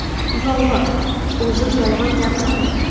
Yolg‘on O‘zim yolg‘on gapirmayman.